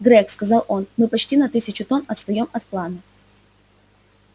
грег сказал он мы почти на тысячу тонн отстаём от плана